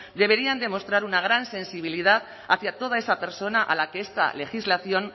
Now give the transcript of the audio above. deberían demostrar una gran sensibilidad hacia toda esa persona a la que esta legislación